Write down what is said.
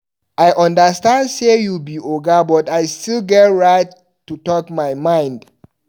I understand sey you be oga but I still get right to talk my mind.